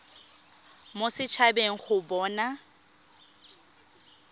mo set habeng go bona